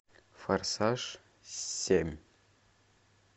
форсаж семь